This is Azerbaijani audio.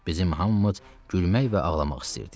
Bizim hamımız gülmək və ağlamaq istəyirdik.